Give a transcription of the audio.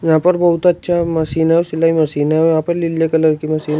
यहां पर बहुत अच्छा मशीन है वो सिलाई मशीन है और यहां पे लीले कलर की मशीन --